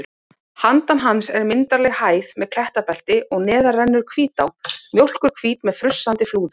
Handan hans er myndarleg hæð með klettabelti og neðar rennur Hvítá, mjólkurhvít með frussandi flúðum.